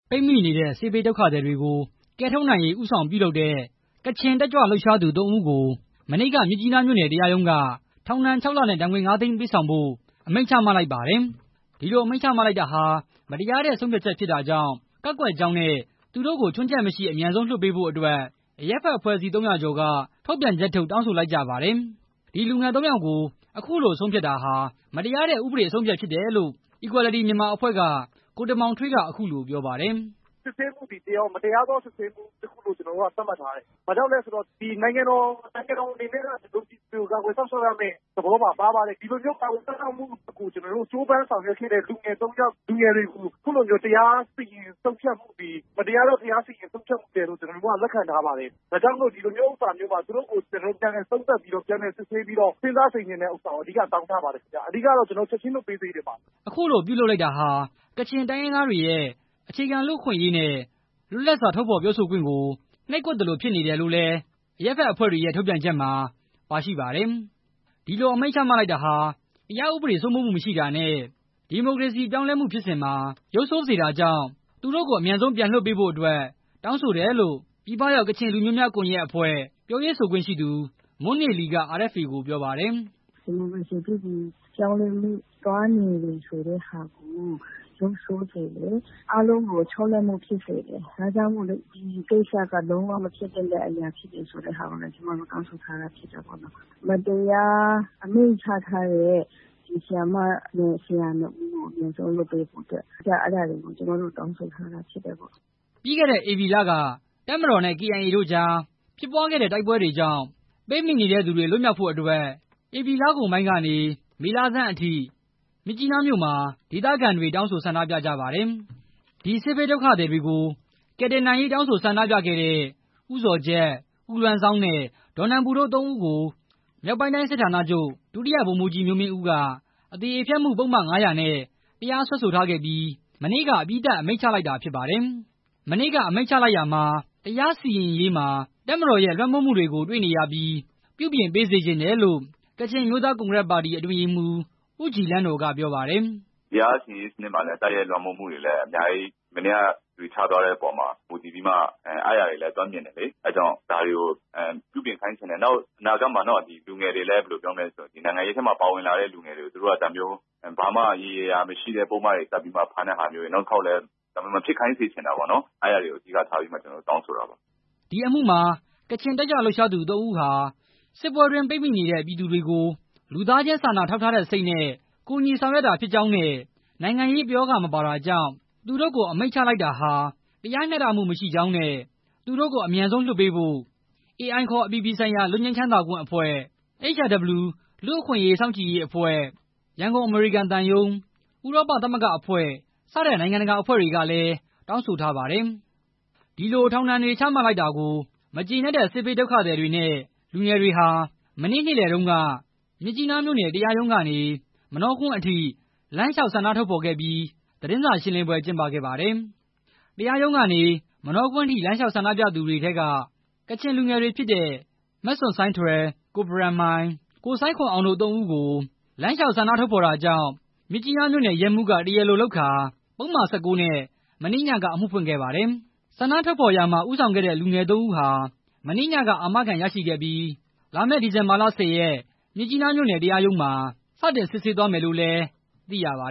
ပိတ်မိနေတဲ့ စစ်ဘေးဒုက္ခသည်တွေကို ကယ်ထုတ်နိုင်ရေး ဦးဆောင်ပြုလုပ်တဲ့ ကချင် တက်ကြွသူ ၃ ဦးကို မနေ့က မြစ်ကြီးနားမြို့နယ် တရားရုံးက ထောင်ဒဏ် ၆ လနဲ့ ဒဏ်ငွေ ၅ သိန်း ပေးဆောင်ဖို့ အမိန့်ချမှတ်လိုက်ပါတယ်။ ဒီလို အမိန့်ချမှတ်လိုက်တာဟာ မတရားတဲ့ ဆုံးဖြတ်ချက်ဖြစ်တာကြောင့် ကန့်ကွက်ကြောင်းနဲ့ သူတို့ကို အမြန်ဆုံး ချွင်းချက်မရှိ အမြန်ဆုံး လွှတ်ပေးဖို့အတွက် အရပ်ဘက်အဖွဲ့အစည်း ၃၀၀ ကျော်က ထုတ်ပြန်ချက်ထုတ် တောင်းဆိုလိုက်ကြပါတယ်။ ဒီလူငယ် ၃ ယောက်ကို အခုလို ဆုံးဖြတ်တာဟာ မတရားတဲ့ဥပဒေ အဆုံးအဖြတ်ဖြစ်တယ်လို့ Equality Myanmar အဖွဲ့က ကိုတင်မောင်ထွေးက အခုလိုပြောပါတယ်။ "စစ်ဆေးမှုသည် မတရားသော စစ်ဆေးမှုလို့ ကျနော်တို့က သတ်မှတ်ထားတယ်။ ဘာဖြစ်လို့လည်းဆိုတော့ နိုင်ငံတော်အနေနဲ့က ဒီမိုကရေစီကို စောင့်ရှောက်ရမယ့်သဘောလို့ ပါပါတယ်။ ဒီလိုမျိုး ကာကွယ်စောက်ရှောက်မှု ကို ကြိုးပမ်းဆောင်ရွက်ခဲ့တဲ့ လူငယ် ၃ ယောက်ကို အခုလိုမျိုး တရားဥပဒေ ဆုံးဖြတ်မှုသည် မတရားသော တရားစီရင်ဆုံးဖြတ်မှုလို့ ကျနော်တို့က လက်ခံထားပါတယ်။ ဒါကြောင့်မို့ သူတို့ကို ပြန်လည်သုံးသပ်ပြီးတော့ ပြန်လည်စစ်ဆေးပြီး စဉ်းစားဆင်ခြင်ဖို့ တောင်းထားပါတယ်။ အဓိကကတော့ ချက်ချင်းပြန်လွှတ်ပေးစေချင်ပါတယ်" အခုလိုပြုလုပ်လိုက်တာဟာ ကချင်တိုင်းရင်းသားတွေရဲ့ အခြေခံလူအခွင့်အရေးနဲ့ လွတ်လပ်စွာ ထုတ်ဖော်ပြောဆိုခွင့်ကို နှိပ်ကွပ်သလိုဖြစ်နေတယ်လို့လည်း အရပ်ဘက်အဖွဲ့တွေရဲ့ ထုတ်ပြန်ချက်မှာ ပါရှိပါတယ်။ ဒီလို အမိန့်ချလိုက်တာဟာ တရားဥပဒေ စိုးမိုးမှုမရှိတာနဲ့ ဒီမိုကရေစီ ပြောင်းလဲမှုဖြစ်စဉ်မှာ ရုပ်ဆိုးစေတာကြောင့် သူတို့ကို အမြန်ဆုံး ပြန်လွှတ်ပေးဖို့အတွက် တောင်းဆိုတယ်လို့ ပြည်ပရောက် ကချင် လူမျိုးများ ကွန်ရက်အဖွဲ့ ပြောရေးဆိုခွင့်ရှိသူ မွန်းနေလီက RFA ကို ပြောပါတယ်။ "ဒီမိုကရေစီ ပြုပြင်ပြောင်းလဲရေး သွားနေတဲ့နေရာမှာ ရုပ်ဆိုးစေတယ်။ အားလုံးကို ခြောက်လန့်မှုဖြစ်စေတယ်။ ဒါကြောင့်မို့ ဒီကိစ္စက လုံးဝမဖြစ်သင့်တဲ့အရာဆိုတာကိုလည်း ကျနော် တောင်းဆိုထားတယ်။ မတရား အမိန့်ချမှတ်ထားတဲ့ ဆရာမနဲ့ ဆရာ နှစ်ဦးကို အမြန်ဆုံးလွှတ်ပေးဖို့ အဓိက ကျမတို့ တောင်းဆိုထားတယ်" ပြီးခဲ့တဲ့ ဧပြီလက တပ်မတော်နဲ့ ကေအိုင်အေ တို့ကြား ဖြစ်ပွားခဲ့တဲ့ တိုက်ပွဲတွေကြောင့် ပိတ်မိနေတဲ့သူတွေ လွတ်မြောက်ဖို့အတွက် ဧပြီလကုန်ပိုင်းကနေ မေလဆန်းအထိ မြစ်ကြီးနားမြို့မှာ ဒေသခံတွေက တောင်းဆို ဆန္ဒပြခဲ့ကြပါတယ်။ ဒီစစ်ဘေးဒုက္ခသည်တွေကို ကယ်တင်နိုင်ရေးတောင်းဆို ဆန္ဒပြခဲ့တဲ့ ဦးဇော်ဂျတ်၊ ဦးလွမ်းဇောင်းနဲ့ ဒေါ်နန်ပူတို့ ၃ ဦးကို မြောက်ပိုင်းတိုင်း စစ်ဌာနချုပ်က ဒုတိယ ဗိုလ်မှူးကြီး မျိုးမင်းဦးက အသရေဖျက်မှု ပုဒ်မ ၅၀၀ နဲ့ တရားစွဲဆိုထားခဲ့ပြီး မနေ့က အပြီးသတ် အမိန့်ချလိုက်တာဖြစ်ပါတယ်။ မနေ့က အမိန့်ချလိုက်ရာမှာ တရားစီရင်ရေးမှာ တပ်မတော်ရဲ့ လွှမ်းမိုးမှုတွေကို တွေ့နေရပြီး ပြုပြင်ပေးစေချင်တယ်လို့ ကချင်အမျိုးသား ကွန်ဂရက်ပါတီ အတွင်းရေးမှူး ဦးဂျီလန်းနော် က ပြောပါတယ်။ "တရားစီရင်ရေးစနစ်မှာ တပ်ရဲ့ လွှမ်းမိုးမှုတွေဟာ မနေ့က အမိန့်ချတဲ့နေရာမှာ တွေ့ရတယ်။ ဒါတွေကို ပြုပြင်ခိုင်းစေချင်တယ် နောက်ပြီးတော့ နောင်အနာဂတ်မှာ နိုင်ငံရေးထဲမှာ ပါဝင်လာတဲ့လူငယ်တွေကို သူတို့ကဒါမျိုး ရေရေရာရာ မရှိတဲ့ပုဒ်မတွေတပ် ဖမ်းတဲ့ဟာမျိုးတွေ နောက်တစ်ခါ မဖြစ်စေချင်ဘူး။ အဲတာတွေကို တောင်းဆိုတာပါ" ဒီအမှုမှာ ကချင် တက်ကြွလှုပ်ရှားသူ ၃ ဦးဟာ စစ်ပွဲတွင်းပိတ်မိနေတဲ့ ပြည်သူတွေကို လူသားချင်း စာနာထောက်ထားတဲ့စိတ်နဲ့ ကူုညီဆောင်ရွက်တာဖြစ်ကြောင်းနဲ့ နိုင်ငံရေး ပရောဂ မပါတာကြောင့် သူတိ့ုကို အမိန်ချလိုက်တာဟာ တရားမျှတမှုမရှိကြောင်းနဲ့ သူတို့ကို အမြန်ဆုံးလွှတ်ပေးဖို့ AI ခေါ် အပြည်ပြည်ဆိုင်ရာ လွတ်ငြိမ်းချမ်းသာခွင့်အဖွဲ့၊ HRW လူ့အခွင့်စောင့်ကြည်ရေးအဖွဲ့၊ ရန်ကုန် အမေရိကန်သံရုံး၊ ဥရောပသမဂ္ဂ အဖွဲ့စတဲ့ နိုင်ငံတကာအဖွ့ဲတွေကလည်း တောင်းဆိုထားပါတယ်။ ဒီလို ထောင်ဒဏ်တွေ ချမှတ်လိုက်တာကို မကျေနပ်တဲ့ စစ်ဘေးဒုက္ခသည်တွေနဲ့ လူငယ်တွေဟာ မနေ့က နေလယ်ပိုင်းတုန်းက မြစ်ကြီးနားမြို့နယ် တရားရုံးကနေ မနောကွင်းအထိ လမ်းလျှောက် ဆန္ဒထုတ်ဖော်ခဲ့ပြီး သတင်းစာရှင်းလင်းပွဲ ကျင်းပခဲ့ပါတယ်။ တရားရုံးကနေ မနောကွင်းထိ လမ်းလျှောက်ဆန္ဒပြသူထဲက ကချင်လူငယ်တွေဖြစ်တဲ့ မဆွတ်ဆိုင်းထွယ်၊ ကိုဘရန်မိုင်၊ ကိုဆိုင်းခွမ်အောင် တို့နဲ့အတူ လမ်းလျှောက် ဆန္ဒထုတ်ဖော်တာကြောင့် မြစ်ကြီးနားမြို့နယ် ရဲမှူးက တရားလိုလုပ်ကာ ပုဒ်မ ၁၉ နဲ့ မနေ့ညက အမှုဖွင့်ခဲ့ပါတယ်။ ဆန္ဒထုတ်ဖော်ရာမှာ ဦးဆောင်ခဲ့တဲ့ လူငယ် သုံးဦးဟာ မနေ့ညက အာမခံရရှိခဲ့ပြီး ဒီဇင်ဘာ ၁၀ ရက်နေ့မှာ မြစ်ကြီးနားမြို့နယ် တရားရုံးမှာ စတင် စစ်ဆေးသွားမယ်လို့လည်း သိရပါ